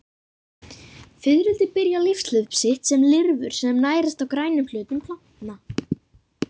Fiðrildi byrja lífshlaup sitt sem lirfur sem nærast á grænum hlutum plantna.